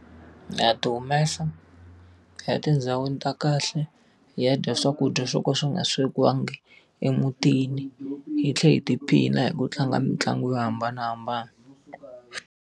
Ha ti humesa, hi ya tindhawini ta kahle, hi ya dya swakudya swo ka swi nga swekiwangi emutini, hi tlhela hi tiphina hi ku tlanga mitlangu yo hambanahambana.